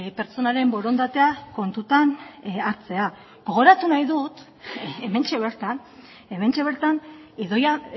pertsonaren borondatea kontutan hartzea gogoratu nahi dut hementxe bertan hementxe bertan idoia